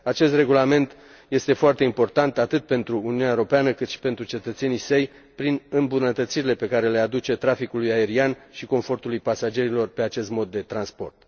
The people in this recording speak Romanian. Acest regulament este foarte important, atât pentru Uniunea Europeană, cât și pentru cetățenii săi, prin îmbunătățirile pe care le aduce traficului aerian și confortului pasagerilor pe acest mod de transport.